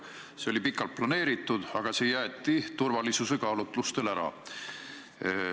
See üritus oli pikalt ette planeeritud, aga see jäeti turvalisuse kaalutlustel ära.